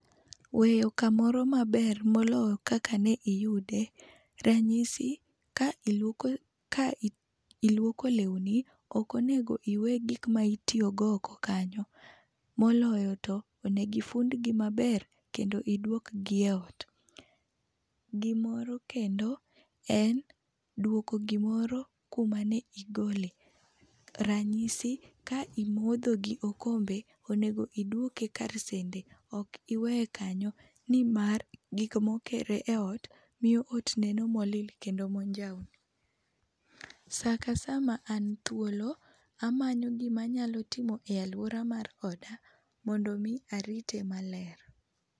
Weyo kamoro maber moloyo kaka ne iyudo ranyisi ,ka iluoko ka iluoko lewni ook onego iwe gik ma ne itiyo go oko kanyo. moloyo to onego ifund gi maber kendo idwok gi e ot. Gimoro kendo en duoko gi moro kuma ni igole ranyisi, ka imodho gi okombe onego idwoke kar sende ok iwe kanyo nimar gik ma okere e ot miyo ot neno ma olil kendo maonjawni. Sa ka sa ma an thuolo aneno gi ma anya timo e aluora mar oda mondo mi arite maler.